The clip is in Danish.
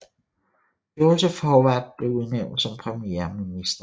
Joseph Howard blev udnævnt som premierminister